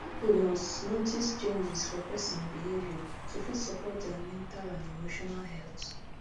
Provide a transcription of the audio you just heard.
people must notice changes for person behavior to fit support dia mental and emotional health